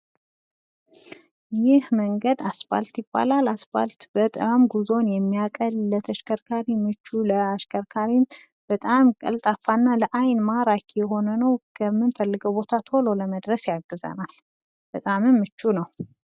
ይህ መንገድ አስፓልት ይባላል። አስፓልት በጣም ጉዞን የሚያቀል ለተሽከርካሬ ምቹ ለአሽከርካሪም በጣም ቀልጣፋ እና ለአይን ማራኪ የሆነ ነው ከንምፈልገው ቦታ ቶሎ ለመድረስ ያግዛል። በጣምም ምቹ ነው።